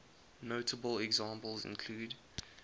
notable examples include